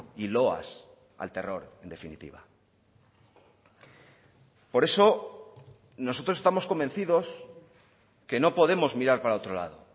y loas al terror en definitiva por eso nosotros estamos convencidos que no podemos mirar para otro lado